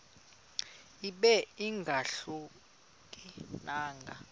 ibe ingahluka nanga